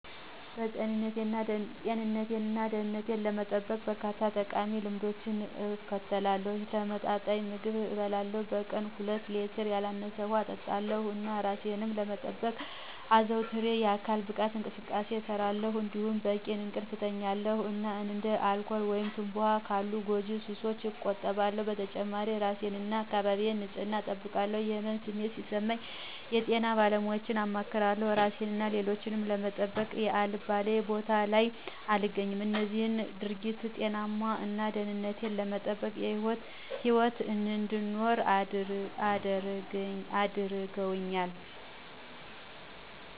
ጤንነቴን እና ደህንነቴን ለመጠበቅ፣ በርካታ ጠቃሚ ልማዶችን እከተላለሁ። የተመጣጠነ ምግብ እበላለሁ፣ በቀን ከሁለት ሌትር ያላነሰ ውሃ እጠጣለሁ፣ እና እራሴን ለመጠበቅ አዘውትሬ የአካል ብቃት እንቅስቃሴ እሰራለሁ። እንዲሁም በቂ እንቅልፍ እተኛለሁ እና እንደ አልኮል ወይም ትምባሆ ካሉ ጎጂ ሱሶች እቆጠባለሁ። በተጨማሪም የእራሴን እና የአካባቢዬን ንፅህና እጠብቃለሁ። የህመም ስሜት ሲሰማኝ የጤና ባለሙያወችን አማክራለሁ። እራሴን እና ሌሎችን ለመጠበቅ አልባሌ ቦታወች ላይ አልገኝም። እነዚህም ድርጊቶች ጤናማ እና ደህንነቱ የተጠበቀ ህይወት እንድኖር አድርገውኛል።